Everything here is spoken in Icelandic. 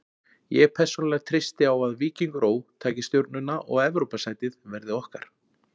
Ég persónulega treysti á að Víkingur Ó. taki Stjörnuna og Evrópusætið verði okkar.